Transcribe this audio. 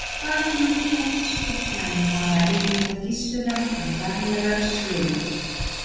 Hvað kemur til að biskupsmenn fara erinda Gissurar í fjarlægar sveitir?